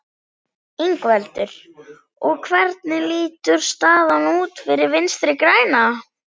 Ingveldur: Og hvernig lítur staðan út fyrir Vinstri-græna?